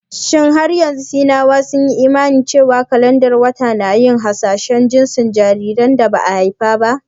Shin har yanzu Sinawa sun yi imani cewa kalandar wata na yin hasashen jinsin jaririn da ba a haifa ba?